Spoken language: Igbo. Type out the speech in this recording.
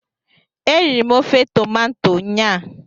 Eriri m ofe tomanto nyaa